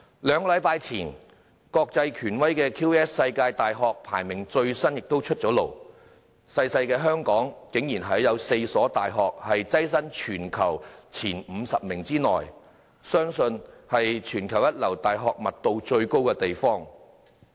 兩星期前，國際權威的 QS 世界大學排名最新名單出爐，小小的香港竟然有4所大學躋身全球前50名內，相信是全球一流大學密度最高的地方。